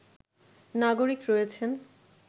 নাগরিক রয়েছেন